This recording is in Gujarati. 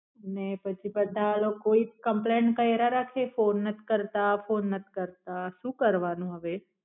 ને પછી બધા કોઈ compaint કાયરા રાખે ફોન નાથ કરતા ફોન નાથ કરતા શુ કરવાનું હવે.